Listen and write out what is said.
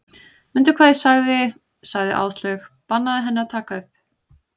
Mundu hvað ég sagði sagði Áslaug, bannaðu henni að taka upp